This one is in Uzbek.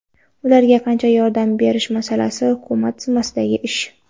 Ularga qancha yordam berish masalasi hukumat zimmasidagi ish.